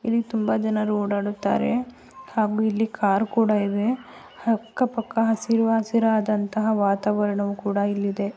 ಇಲ್ಲಿ ತುಂಬಾ ಜನರು ಓಡಾಡುತ್ತಾರೆ ಹಾಗೂ ಇಲ್ಲಿ ಕಾರು ಕೂಡ ಇವೆ ಅಕ್ಕ ಪಕ್ಕ ಹಸಿರು ಹಸಿರಾದಂತ ವಾತಾವರಣವೂ ಕೂಡ ಇಲ್ಲಿ ಇದೆ .